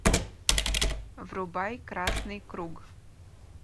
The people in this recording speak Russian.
врубай красный круг